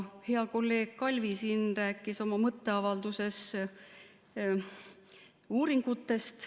Hea kolleeg Kalvi siin rääkis oma mõtteavalduses uuringutest.